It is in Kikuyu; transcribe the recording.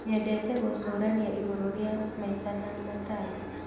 Nyendete gũcũrania igũrũ rĩa maica na matanya.